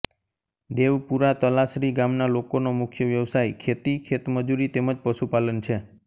દેવપુરા તલાસરી ગામના લોકોનો મુખ્ય વ્યવસાય ખેતી ખેતમજૂરી તેમ જ પશુપાલન છે